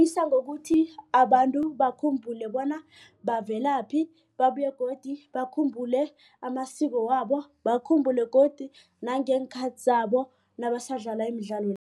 ngokuthi abantu bakhumbule bona bavelaphi babuye godu bakhumbule amasiko wabo bakhumbule godu nangeenkhathi zabo nabasadlala imidlalo.